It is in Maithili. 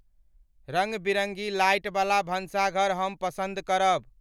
रंग बिरंगी लाइट बला भंशाघर हम पसंद करब